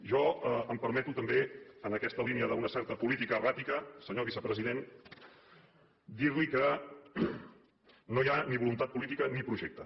jo em permeto també en aquesta línia d’una certa política erràtica senyor vicepresident dir li que no hi ha ni voluntat política ni projecte